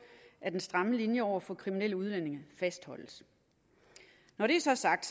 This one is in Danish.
at den stramme linje over for kriminelle udlændinge fastholdes når det så er sagt